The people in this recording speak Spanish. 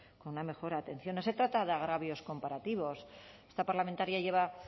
con una mejor atención no se trata de agravios comparativos esta parlamentaria está